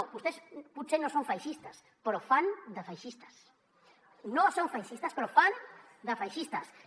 no vostès potser no són feixistes però fan de feixistes no són feixistes però fan de feixistes